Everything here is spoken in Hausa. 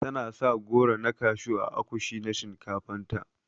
Tana sa goro na kashew ã akushi na shinkafan ta.